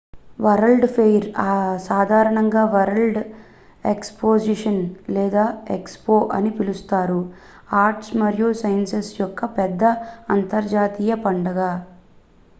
world's fair సాధారణంగా world exposition లేదా expo అని పిలుస్తారు ఆర్ట్స్ మరియు సైన్సెస్ యొక్క పెద్ద అంతర్జాతీయ పండుగ